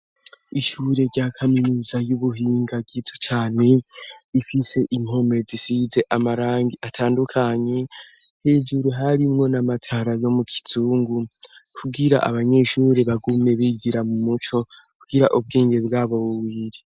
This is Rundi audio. Ishure rya kaminuza y'ubuhinga gito cane ifise impome zisize amarangi atandukanyi hejuru harimwo n'amatara yo mu kizungu kugira abanyeshuri bagume bigira mu muco kugira ubwenge bw'abo wuwiri.